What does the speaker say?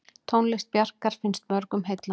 Tónlist Bjarkar finnst mörgum heillandi.